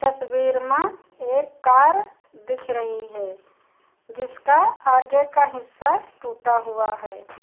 तस्वीर मा एक कार दिख रही है जिसका आगे का हिस्सा टूटा हुआ है।